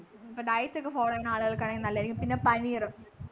ഇപ്പൊ diet ഒക്കെ follow ചെയ്യുന്ന ആളുകൾക്ക് നല്ലതായിരിക്കും പിന്നെ പനീറു